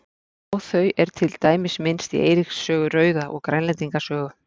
Á þau er til dæmis minnst í Eiríks sögu rauða og Grænlendinga sögu.